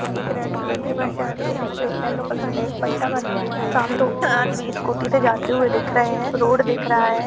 एक red colour की bus जा रही है। जिसपे एक येल्लो कलर का एक पट्टा बना हुआ है। सामने दो आदमी स्कुटी जाते हुए दिख रहे है। रोड दिख रहा है।